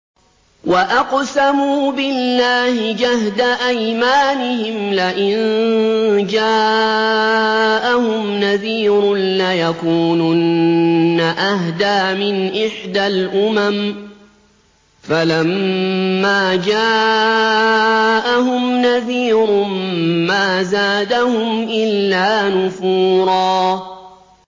وَأَقْسَمُوا بِاللَّهِ جَهْدَ أَيْمَانِهِمْ لَئِن جَاءَهُمْ نَذِيرٌ لَّيَكُونُنَّ أَهْدَىٰ مِنْ إِحْدَى الْأُمَمِ ۖ فَلَمَّا جَاءَهُمْ نَذِيرٌ مَّا زَادَهُمْ إِلَّا نُفُورًا